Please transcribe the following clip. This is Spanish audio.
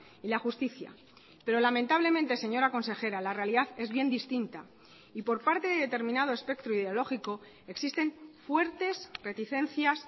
y la justicia pero lamentablemente señora consejera la realidad es bien distinta y por parte de determinado espectro ideológico existen fuertes reticencias